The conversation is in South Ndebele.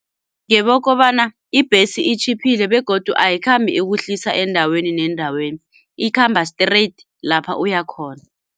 Ngebokobana ibhesi itjhiphile begodu ayikhambi ikuhlisa endaweni nendaweni, ikhamba straight lapha uyakhona.